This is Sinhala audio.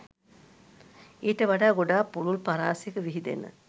ඊට වඩා ගොඩක් පුළුල් පරාසෙක විහිදෙන